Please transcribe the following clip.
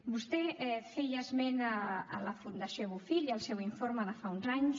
vostè feia esment de la fundació bofill i del seu informe de fa uns anys